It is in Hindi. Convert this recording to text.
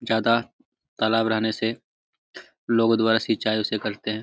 ज्यादा तालाब रहने से लोगो द्वारा सिचाई उससे करते है।